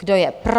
Kdo je pro?